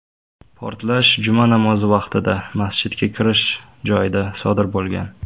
Portlash juma namozi vaqtida, masjidga kirish joyida sodir bo‘lgan.